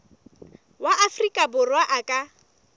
wa afrika borwa a ka